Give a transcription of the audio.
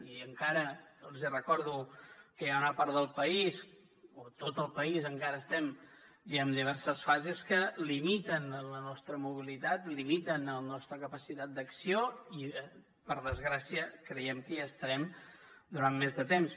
i encara els recordo que hi ha una part del país o tot el país encara estem en diverses fases que limiten la nostra mobilitat limiten la nostra capacitat d’acció i per desgràcia creiem que hi estarem durant més de temps